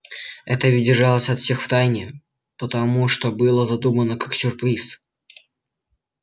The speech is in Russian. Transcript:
это ведь держалось от всех в тайне потому что было задумано как сюрприз